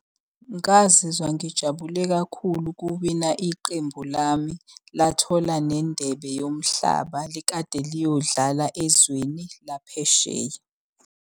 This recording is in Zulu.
Ngazizwa ngijabule kakhulu kuwina iqembu lami, lathola nendebe yomhlaba likade liyodlala ezweni laphesheya.